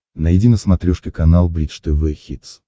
найди на смотрешке канал бридж тв хитс